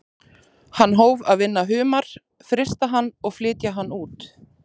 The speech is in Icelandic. Hann hóf að vinna humar, frysta hann og flytja hann út.